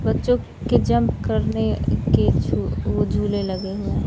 बच्चों के जंप करने के झू झूले लगे हुए--